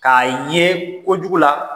K'a ye kojugu la.